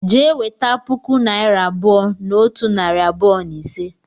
Jee weta puku naira abuo na otu nari abuo na ise!